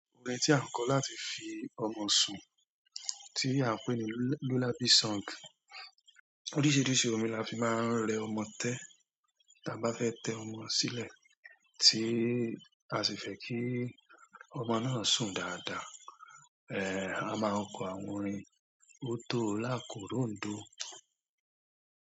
Orin tí a ń kọ láti fi ọmọ sùn tí a ń pè ní lullaby song. Oríṣiríṣi orin la fi máa ń rẹ ọmọ tẹ́ tí a bá fẹ́ tẹ ọmọ sílẹ̀, tí a sì fẹ́ kí ọmọ náà sùn dáadáa. A máa ń kọ àwọn orin ò tó lákòróndò.